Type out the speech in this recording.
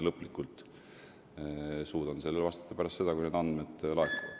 Lõplikult suudan sellele küsimusele vastata pärast seda, kui need andmed laekuvad.